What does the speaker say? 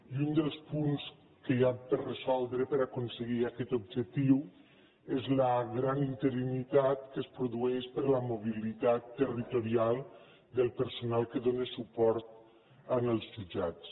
i un dels punts que hi han per resoldre per a aconseguir aquest objectiu és la gran interinitat que es produeix per la mobilitat territorial del personal que dóna suport als jutjats